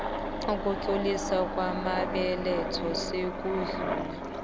ukutloliswa kwamabeletho sekudlule